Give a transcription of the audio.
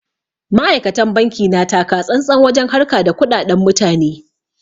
Ma'aikatan banki na takatsantsan wajen harka da kuɗaɗan mutane.